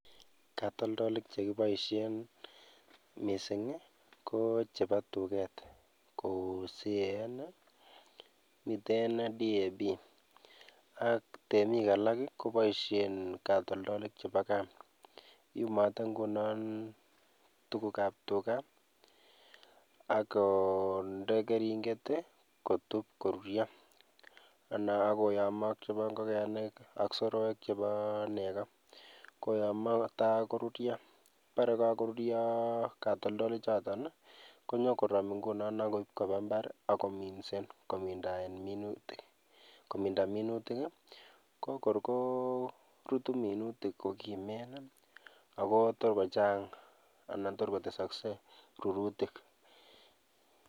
Katoldolik chekiboishen mising i ko cheboo tuket kou CAN, miten DAB ak temik alak koboishen katoldolik cheboo Kaa, iyumotee ing'unon tukukab tukaa akondee kering'et i kotub koruryo, anan akoyomo ak cheboo ng'okenik ak soroek cheboo nekoo koyomo kotakoruryo, ng'obore kokoruryo katoldolichoton konyokorom ingunon akoib kobaa imbar akominsen komindaen minutik kokor ko korutu minutik kokimen i akotor kochang anan torkotesokse rurutik.